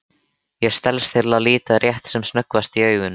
Ég stelst til að líta rétt sem snöggvast í augun.